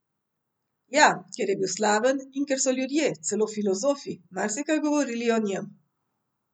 Ja, ker je bil slaven in ker so ljudje, celo filozofi, marsikaj govorili o njem.